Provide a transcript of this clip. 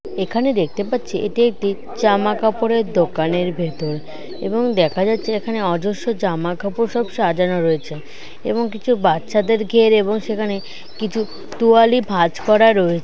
এখানে দেখতে পাচ্ছি এটি একটি জামা কাপড়ের দোকানের ভেতর এবং দেখা যাচ্ছে এখানে অজস্র জামা কাপড় সব সাজানো রয়েছে এবং কিছু বাচ্চাদের কেয়ার এবং সেখানে কিছু তোয়ালি ভাঁজ করা রয়েছে।